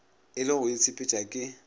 e le go itshepetša ke